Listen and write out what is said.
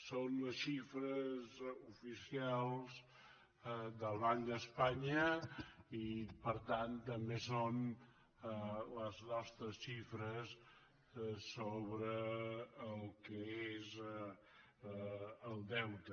són les xifres oficials del banc d’espanya i per tant també són les nostres xifres sobre el que és el deute